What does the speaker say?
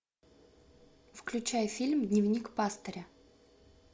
включай фильм дневник пастыря